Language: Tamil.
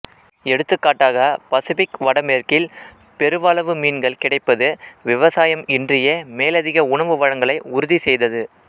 எடுத்துக் காட்டாக பசிபிக் வடமேற்கில் பெருவளவு மீன்கள் கிடைப்பது விவசாயம் இன்றியே மேலதிக உணவு வழங்கலை உறுதிசெய்தது